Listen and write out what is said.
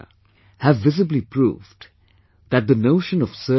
We are familiar with the dictum Sewa Paramo Dharmah; service is a joy in itself...